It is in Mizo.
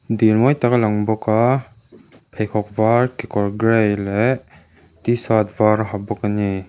dil mawi tak a lang bawk a pheikhawk var kekawr grey leh tshirt var a ha bawk a ni.